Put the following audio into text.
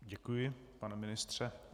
Děkuji, pane ministře.